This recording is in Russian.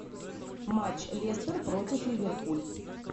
матч лестер против ливерпуль